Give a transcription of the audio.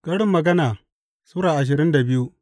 Karin Magana Sura ashirin da biyu